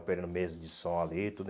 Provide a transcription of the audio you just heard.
Operando mesa de som ali, tudo.